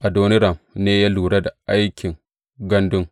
Adoniram ne ya lura da aikin gandun.